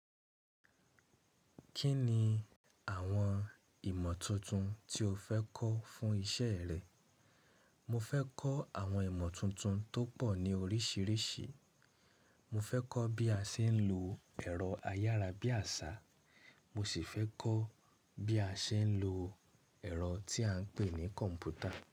Kí ni àwọn ìmọ̀ tuntun tí o fẹ́ kọ́ fún iṣẹ́ rẹ? Mo fẹ́ kọ́ àwọn ìmọ̀ tuntun tó pọ̀ ní oríṣìíríṣìí. Mo fẹ́ kọ́ bí a ṣe ń lo ẹ̀rọ ayára bí àṣá, mo sì fẹ́ kọ́ bí a ṣe ń lo ẹ̀rọ tí à ń pè ní kọ̀ǹpútà.